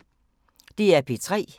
DR P3